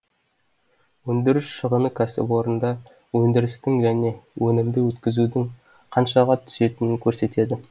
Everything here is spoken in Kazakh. өндіріс шығыны кәсіпорында өндірістің және өнімді өткізудің қаншаға түсетінін көрсетеді